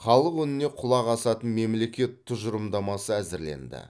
халық үніне құлақ асатын мемлекет тұжырымдамасы әзірленді